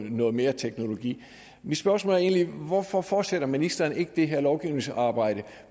noget mere teknologi mit spørgsmål er egentlig hvorfor fortsætter ministeren ikke det her lovgivningsarbejde